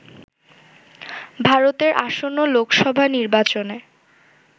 ভারতের আসন্ন লোকসভা নির্বাচনে